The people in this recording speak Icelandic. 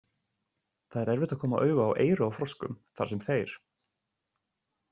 Það er erfitt að koma auga á eyru á froskum þar sem þeir.